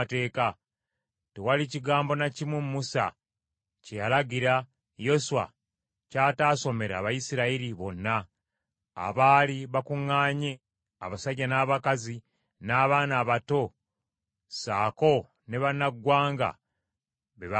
Tewali kigambo na kimu Musa kye yalagira, Yoswa ky’ataasomera Bayisirayiri bonna, abaali bakuŋŋaanye abasajja n’abakazi n’abaana abato ssaako ne bannaggwanga be baabeeranga nabo.